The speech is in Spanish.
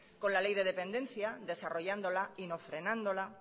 con la ley de dependencia desarrollándola y no frenándola